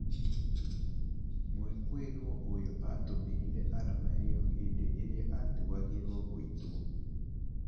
Mwĩkũĩrwo ũyũ atũmĩrire arama ĩyo hĩndĩ ĩrĩa atuagĩrwo gũitwo.